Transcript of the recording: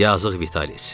Yazıq Vitalis.